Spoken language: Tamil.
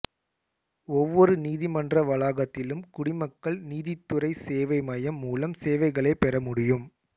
ஒவ்வொரு நீதிமன்ற வளாகத்திலும் குடிமக்கள் நீதித்துறை சேவை மையம் மூலம் சேவைகளைப் பெற முடியும்